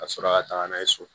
Ka sɔrɔ ka taga n'a ye so